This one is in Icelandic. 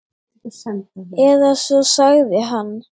Eða svo sagði hann.